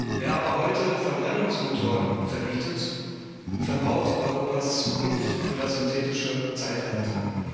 Wer aber heute Verbrennungsmotoren verbietet, verbaut Europas Zukunft für das synthetische Zeitalter.